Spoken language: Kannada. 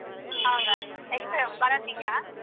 ಹೌದಾ ಎಷ್ಟು ಬರೋ ತಿಂಗ್ಳಾ?